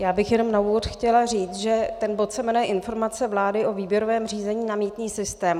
Já bych jenom na úvod chtěla říct, že ten bod se jmenuje Informace vlády o výběrovém řízení na mýtný systém.